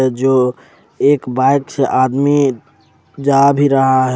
जो एक बाइक से आदमी जा भी रहा है।